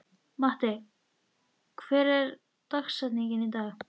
Matti, hver er dagsetningin í dag?